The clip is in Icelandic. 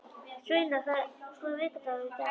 Sveina, hvaða vikudagur er í dag?